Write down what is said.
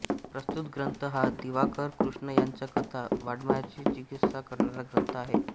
प्रस्तुत ग्रंथ हा दिवाकर कृष्ण यांच्या कथा वाड्मयाची चिकित्सा करणारा ग्रंथ आहे